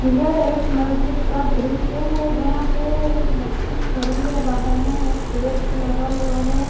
यह एक मस्जिद का दृश्य है यहां पे एक बच्ची खड़ी है बाहर में एक पेड़ भी लगा हुआ है।